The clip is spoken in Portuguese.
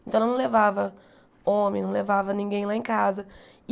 Então ela não levava homem, não levava ninguém lá em casa.